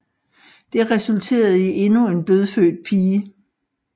Det resulterede i endnu en dødfødt pige